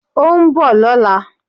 Ó nbò lóla